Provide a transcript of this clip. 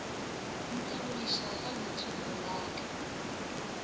ntebogiša ka leitšibulo la ka